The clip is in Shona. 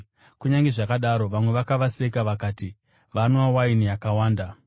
Kunyange zvakadaro, vamwe vakavaseka vakati, “Vanwa waini yakawanda.”